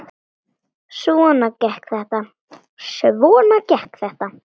Svona gekk þetta.